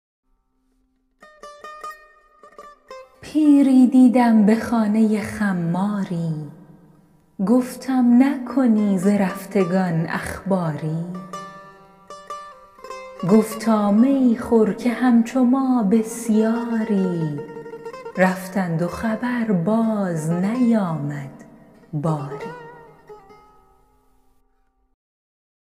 پیری دیدم به خانه خماری گفتم نکنی ز رفتگان اخباری گفتا می خور که همچو ما بسیاری رفتند و خبر باز نیامد باری